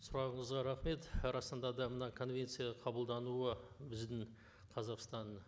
сұрағыңызға рахмет расында да мына конвенция қабылдануы біздің қазақстанның